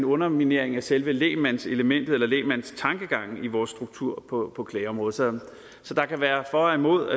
underminering af selve lægmandselementet eller lægmandstankegangen i vores struktur på klageområdet så der kan være for og imod